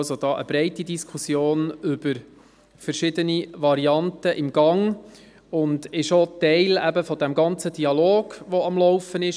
Es ist eine breite Diskussion über verschiedene Varianten im Gang, und sie ist auch Teil des ganzen Dialogs, der am Laufen ist.